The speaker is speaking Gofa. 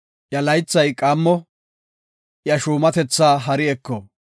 Iya laythay qaammo; iya shuumatetha hari eko.